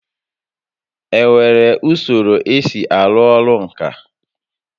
Enwere usoro esi arụ orụ ǹkà?